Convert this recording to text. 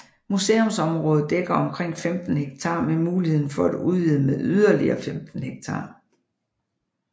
Museumsområdet dækker omkring 15 hektar med mulighed for at udvide med yderligere 15 hektar